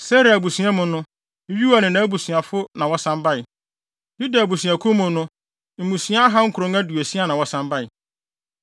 Serah abusua mu no: Yeuel ne nʼabusuafo na wɔsan bae. Yuda abusuakuw no mu mmusua ahansia aduɔkron (960) na wɔsan bae.